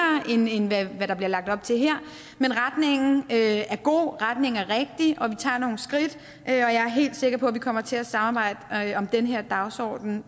end end hvad der bliver lagt op til her men retningen er god retningen er rigtig og vi tager nogle skridt og jeg er helt sikker på at vi kommer til at samarbejde om den her dagsorden